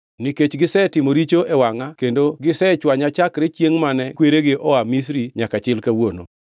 nikech gisetimo richo e wangʼa kendo gisechwanya chakre chiengʼ mane kweregi oa Misri nyaka chil kawuono.”